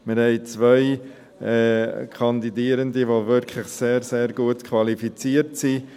Wir haben 2 Kandidierende, die wirklich sehr gut qualifiziert sind.